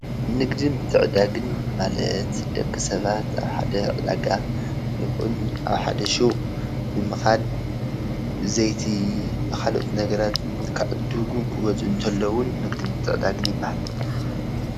ንግድን ምትዕድዳግን ማለት ደቂ ሰባት ኣብ ሓደ ዕዳጋ ይኩን ኣብ ሓደ ሹቅ ብምኻድ ዘይቲን ካሎኦት ነገራትን ንክዕድጉን ክገዝኡን ከለውን ንግድን ምትዕድዳግን ይበሃል።